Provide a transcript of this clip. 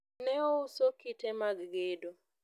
ne ouso kite mag gedo